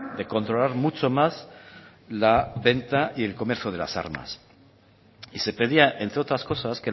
de controlar mucho más la venta y el comercio de las armas y se pedía entre otras cosas